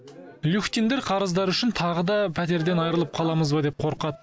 люхтиндер қарыздары үшін тағы да пәтерден айырылып қаламыз ба деп қорқады